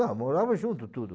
Não, morava junto tudo.